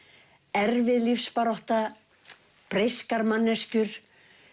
erfið lífsbarátta breyskar manneskjur